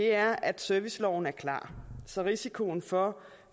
er at serviceloven er klar så risikoen for